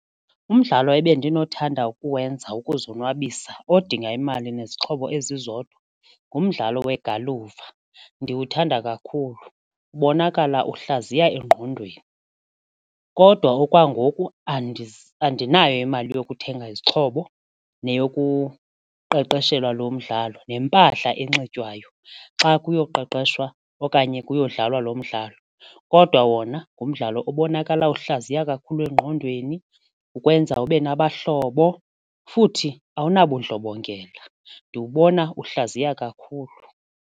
Umdlalo ebendinokuthanda ukuwenza ukuzonwabisa odinga imali nezixhobo ezizodwa ngumdlalo wegalufa ndiwuthanda kakhulu, ubonakala uhlaziya engqondweni kodwa okwangoku andinayo imali yokuthenga izixhobo neyokuqeqeshelwe lo mdlalo neempahla enxitywayo xa kuyoqeqeshwa okanye kuyodlalwa lo mdlalo kodwa wona ngumdlalo obonakala uhlaziya kakhulu engqondweni, ukwenza ube nabahlobo futhi awunabundlobongela. Ndiwubona uhlaziya kakhulu.